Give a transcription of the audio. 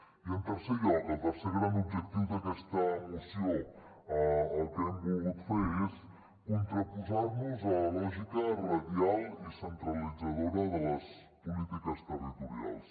i en tercer lloc el tercer gran objectiu d’aquesta moció el que hem volgut fer és contraposar nos a la lògica radial i centralitzadora de les polítiques territorials